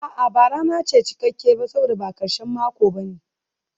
A'a, ba rana ce cikakke ba saboda ba karshen mako ba ne.